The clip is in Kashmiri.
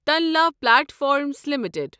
Tanla platforms limited